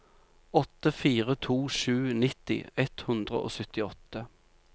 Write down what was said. åtte fire to sju nitti ett hundre og syttiåtte